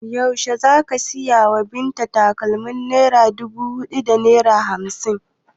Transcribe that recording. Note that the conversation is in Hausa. Yaushe za ka saya wa Binta takalmin naira dubu da naira hamsin?